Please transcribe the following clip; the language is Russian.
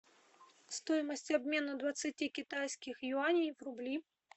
стоимость обмена двадцати китайских юаней в рубли